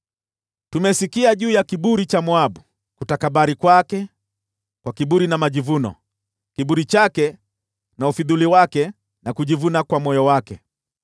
“Tumesikia juu ya kiburi cha Moabu: kutakabari kwake kwa kiburi na majivuno, kiburi chake na ufidhuli wake, na kujivuna kwa moyo wake.